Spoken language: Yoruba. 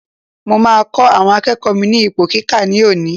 Mo máa kọ́ àwọn akẹ́kọ̀ọ́ mi ní ipò kíkà ní òní.